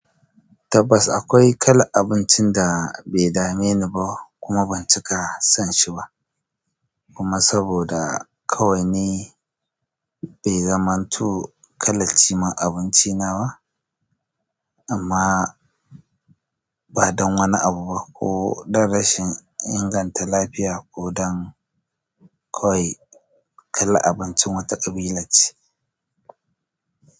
Tabbas akwai kalar abincin da bai dame ni ba kuma ban cika son shi ba, kuma saboda kawai bai zamanto kalar cimar abinci na ba, amma ba don wani abu ba ko don rashin inganta lafiya ko don kawai kalar abincin wata ƙabilance.